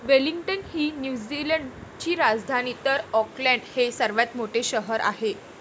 Wellington ही New Zealand ची राजधानी तर आॅकलॅंड हे सर्वात मोठे शहर आहे.